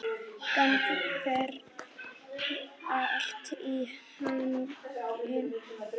Gangi þér allt í haginn, Dóa.